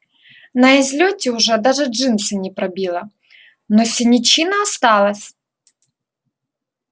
на излёте уже даже джинсы не пробило но синячина осталась